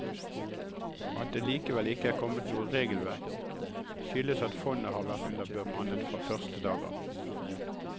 At det likevel ikke er kommet noe regelverk, skyldes at fondet har vært underbemannet fra første dag av.